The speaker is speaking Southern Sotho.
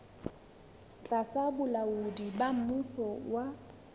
tlasa bolaodi ba mmuso wa